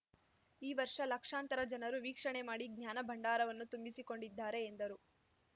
ಈ ವರ್ಷ ಲಕ್ಷಾಂತರ ಜನರು ವೀಕ್ಷಣೆ ಮಾಡಿ ಜ್ಞಾನ ಭಂಡಾರವನ್ನು ತುಂಬಿಸಿಕೊಂಡಿದ್ದಾರೆ ಎಂದರು